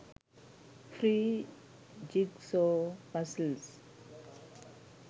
free jigsaw puzzles